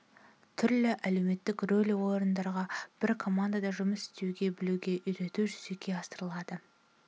түрлі әлеуметтік рөл орындауға бір командада жұмыс істей білуге үйрету жүзеге асырылады